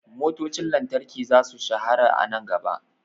Motocin lantarki za su shahara a nan gaba.